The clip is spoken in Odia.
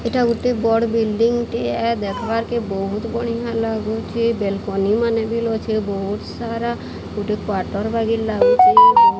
ଏଟା ଗୋଟେ ବଡ଼ ବିଲ୍ଡଂ ଟିଏ। ଦେଖବାରକେ ବୋହୁତ୍ ବଢ଼ିଆ ଲାଗୁଚେ। ବେଲକୋନି ମାନେ ବିଲ୍ ଅଛେ। ବୋହୁତ୍ ସାରା ଗୋଟେ କ୍ୱାଟର୍ ବାଗି ଲାଗୁଚେ ବୋହୁତ୍ --